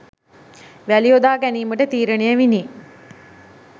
වැලි යොදා ගැනීමට තීරණය විණි.